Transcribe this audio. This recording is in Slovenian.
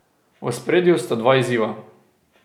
V ospredju sta dva izziva.